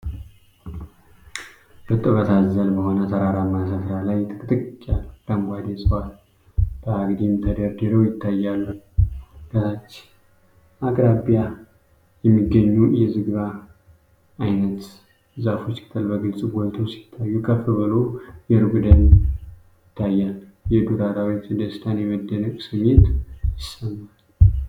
እርጥበት አዘል በሆነ ተራራማ ሥፍራ ላይ፣ ጥቅጥቅ ያሉ አረንጓዴ ዕፅዋት በአግድም ተደርድረው ይታያሉ። ከታች አቅራቢያ የሚገኙ የዝግባ ዓይነት ዛፎች ቅጠል በግልጽ ጎልተው ሲታዩ፣ ከፍ ብሎ የሩቅ ደን ይታያል። የዱር አራዊት ደስታና የመደነቅ ስሜት ይሰማል።